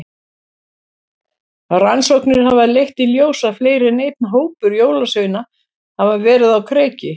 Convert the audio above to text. Rannsóknir hafa leitt í ljós að fleiri en einn hópur jólasveina hafa verið á kreiki.